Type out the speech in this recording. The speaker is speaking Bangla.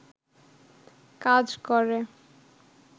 কাজ করে